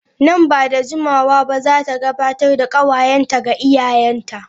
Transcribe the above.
Nan ba da jimawa ba za ta gabatar da kawayenta ga iyayenta.